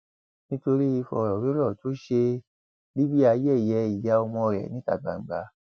nítorí ìfọrọwérọ tó ṣe libre yẹyẹ ìyá ọmọ rẹ níta gbangba